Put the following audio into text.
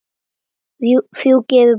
Fjúki yfir brúna.